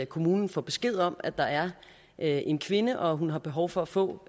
kommunen får besked om at der er en kvinde og at hun har behov for at få